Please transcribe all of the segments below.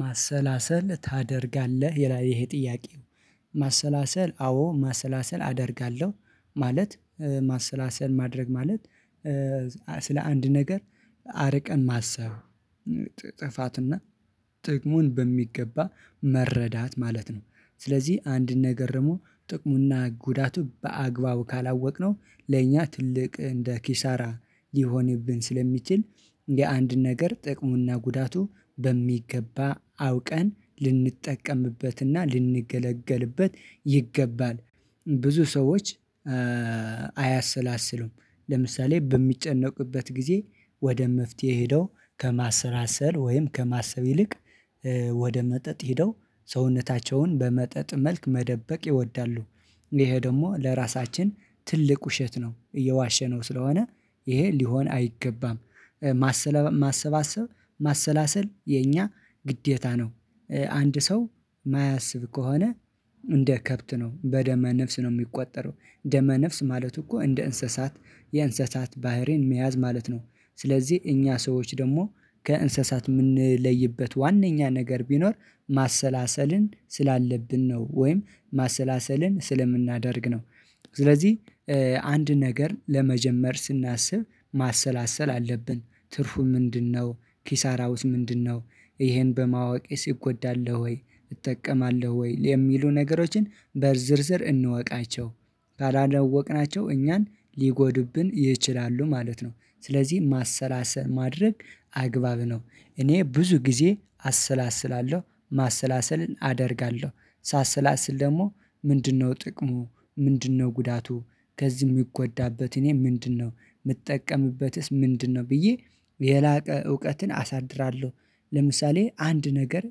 ማሰላሰል ታደርጋለህ ይሄ ጥያቄ? ማሰላሰል አዎ ማሰላሰል አደርጋለሁ ማለት ማሰላሰል ማድረግ ማለት ስለ አንድ ነገር አርቀን ማሰብ ጥፋትና ጥቅሙን በሚገባ መረዳት ማለት ነው። ስለዚህ አንድን ነገር ደግሞ ጥቅሙና ጉዳቱ በአግባቡ ካላወቅነው ለእኛ ትልቅ እንደ ኪሳራ ሊሆንብን ስለሚችል የአንድ ነገር ጥቅሙና ጉዳቱ በሚገባ አውቀን ልንጠቀምበትና ልንገለገልበት ይገባል። ብዙ ሰዎች አያሰላስሉም። ለምሳሌ በሚጨነቁበት ጊዜ ወደ መፍትሄ ሄደው ከማሰላሰል ወይም ከማሰብ ይልቅ ወደ መጠጥ ሄደው ሰውነታቸውን በመጠጥ መልክ መደበቅ ይወዳሉ ይሄ ደግሞ ለራሳችን ትልቅ ውሸት ነው እየዋሸነው ስለሆነ ይሄ ሊሆን አይገባም። ማሰባሰብ ማሰላሰል የኛ ግዴታ ነው። አንድ ሰው የማያስብ ከሆነ እንደ ከብት ነው በደመ ነፍስ ነው የሚቆጠረው ደመ ነፍስ ማለት እኮ እንደ እንስሳት የእንስሳት ባህሪን መያዝ ማለት ነው። ስለዚህ እኛ ሰዎች ደግሞ ከእንስሳት የምንለይበት ዋነኛ ነገር ቢኖር ማሰላሰልን ስላለብን ነው ወይም ማሰላሰልን ስለምናደርግ ነው። ስለዚህ አንድ ነገር ለመጀመር ስናስብ ማሰላሰል አለብን ትርፉ ምንድነው? ኪሳራውስ ምንድነው? ይሄን በማወቄስ እጎዳለው ወይ እጠቀማለሁ ወይ የሚሉ ነገሮችን በዝርዝር እንወቃቸው። ካላወቅናቸው እኛን ሊጎዱብን ይችላሉ ማለት ነው። ስለዚህ ማሰላሰል ማድረግ አግባብ ነው። እኔ ብዙ ጊዜ አሰላስላለሁ ማሰላሰልን አደርጋለሁ ሳሰላስል ደግሞ ምንድነው ጥቅሙ ምንድነው ጉዳቱ ከዚህ የሚጎዳበት እኔ ምንድነው የምጠቀምበትስ ምንድነው ብዬ የላቀ እውቀትን አሳድራለሁ። ለምሳሌ አንድ ነገር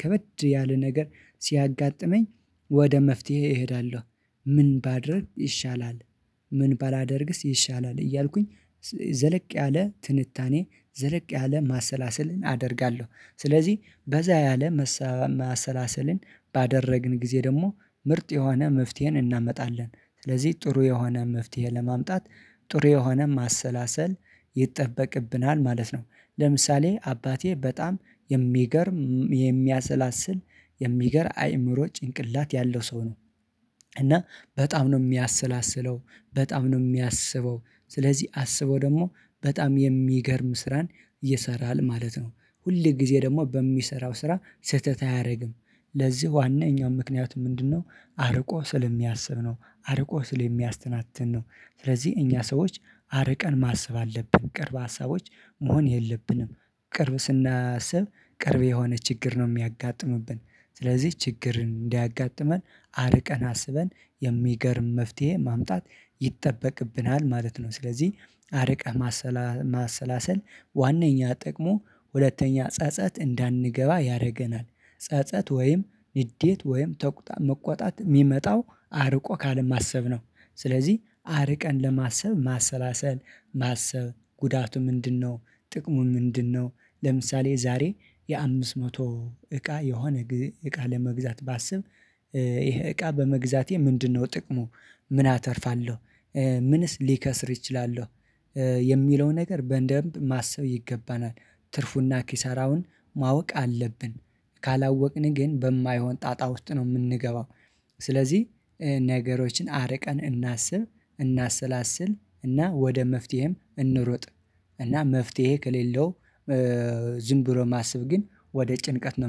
ከበድ ያለ ነገር ሲያጋጥመኝ ወደ መፍትሄ እሄዳለሁ። ምን ባደርግ ይሻለል? ምን ባላደርግስ ይሻላል? እያልኩኝ ዘለቅ ያለ ትንታኔ ዘለቅ ያለ ማሰላሰልን አደርጋለሁ። ስለዚህ በዛ ያለ መሰ ማሰላሰልን ባደረግን ጊዜ ደግሞ ምርጥ የሆነ መፍትሄን እናመጣለን። ስለዚህ ጥሩ የሆነ መፍትሄ ለማምጣት ጥሩ የሆነ ማሰላሰል ይጠበቅብናል ማለት ነው። ለምሳሌ አባቴ በጣም የሚገርም የሚያሰላስል የሚገር አይምሮ ጭንቅላት ያለው ሰው ነው። እና በጣም ነው የሚያሰላስለው በጣም ነው የሚያስበው ስለዚህ አስቦ ደግሞ በጣም የሚገርም ስራን ይሰራል ማለት ነው። ሁል ጊዜ ደግሞ በሚሰራው ስራ ስህተት አያደርግም ለዚህ ዋናኛው ምክንያት ምንድነው? አርቆ ስለሚያስብ ነው። አርቆ ስለሚያስተናትን ነው። ስለዚህ እኛ ሰዎች አርቀን ማሰብ አለብን ቅርብ ሀሳቦች መሆን የለብንም። ቅርብ ስናስብ ቅርብ የሆነ ችግር ነው የሚያጋጥምብን። ስለዚህ ችግር እንዳያጋጥመን አርቀን አስበን የሚገርም መፍትሄ ማምጣት ይጠበቅብናል ማለት ነው። ስለዚህ አርቀህ ማሰላሰል ዋነኛ ጥቅሞ ሁለተኛ ጸጸት እንዳንገባ ያደርገናል። ጸጸት ወይም ንዴት ወይም መቆጣጠር የሚመጣው አርቆ ካልማሰብ ነው። ስለዚህ አርቀን ለማሰብ ማሰላሰል ማሰብ ጉዳቱ ምንድነው? ጥቅሙ ምንድነው? ለምሳሌ ዛሬ የአምስት መቶ እቃ የሆነ እቃ ለመግዛት ባስብ ይሄ እቃ በመግዛቴ ምንድነው ጥቅሙ ምን አተርፋለሁ ምንስ ሊከስር ይችላለሁ የሚለው ነገር በእንደንብ ማሰብ ይገባናል። ትርፉና ኪሳራውን ማወቅ አለብን። ካላወቅን ግን በማይሆን ጣጣ ውስጥ ነው የምንገባው። ስለዚህ ነገሮችን አርቀን እናስብ እናሰላስል እና ወደ መፍትሄም እንሩጥ። እና መፍትሄ ከሌለው ዝም ብሎ ማሰብ ግን ወደ ጭንቀት ነው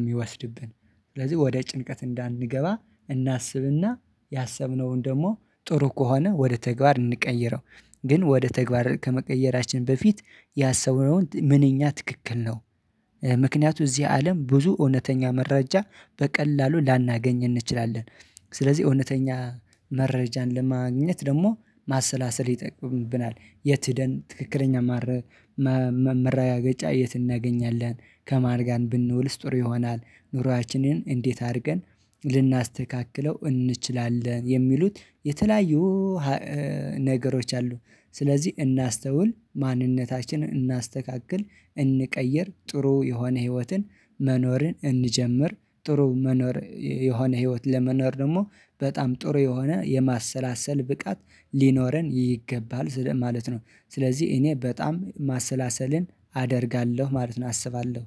የሚወስድብን። ስለዚህ ወደ ጭንቀት እንዳንገባ እናስብና ያሰብነውን ደግሞ ጥሩ ከሆነ ወደ ተግባር እንቀይረው። ግን ወደ ተግባር ከመቀየራችን በፊት ያሰብነውን ምንኛ ትክክል ነው? ምክንያቱ እዚህ አለም ብዙ እውነተኛ መረጃ በቀላሉ ላናገኝ እንችላለን። ስለዚህ እውነተኛ መረጃን ለማግኘት ደግሞ ማሰላሰል ይጠበቅብናል። የት ሄደን ትክክለኛ ማረ ማረጋገጫ የት እናገኛለን? ከማን ጋር ብንውል ስጦር ይሆናል ኑሮአችንን እንዴት አድርገን ልናስተካክለው እንችላለን? የሚሉት የተለያዩ ነገሮች አሉ። ስለዚህ እናስተውል ማንነታችንን እናስተካክል እንቀይር ጥሩ የሆነ ህይወትን መኖርን እንጀምር ጥሩ መኖር የሆነ ህይወት ለመኖር ደግሞ በጣም ጥሩ የሆነ የማሰላሰል ብቃት ሊኖረን ይገባል ስለዚህ ማለት ነው። ስለዚህ እኔ በጣም ማሰላሰልን አደርጋለሁ ማለት ነው አስባለሁ።